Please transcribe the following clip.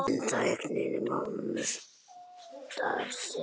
En tæknin kostar sitt.